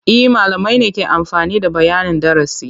E, malamai ne ke amfani da bayanin darasi.